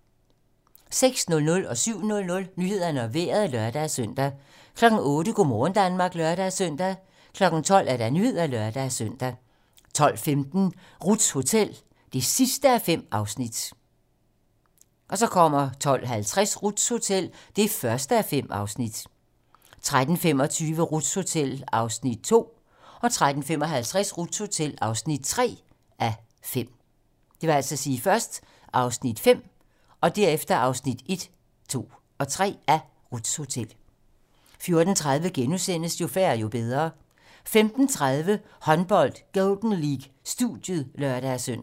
06:00: Nyhederne og Vejret (lør-søn) 07:00: Nyhederne og Vejret (lør-søn) 08:00: Go' morgen Danmark (lør-søn) 12:00: Nyhederne (lør-søn) 12:15: Ruths hotel (5:5) 12:50: Ruths Hotel (1:5) 13:25: Ruths Hotel (2:5) 13:55: Ruths hotel (3:5) 14:30: Jo færre, jo bedre * 15:30: Håndbold: Golden League - studiet (lør-søn)